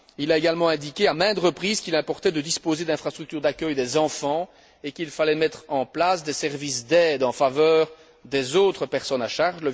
Il a également indiqué à maintes reprises qu'il importait de disposer d'infrastructures d'accueil des enfants et qu'il fallait mettre en place des services d'aide en faveur des autres personnes à charge.